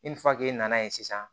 nana ye sisan